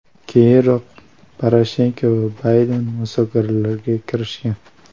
Keyinroq, Poroshenko va Bayden muzokaralarga kirishgan.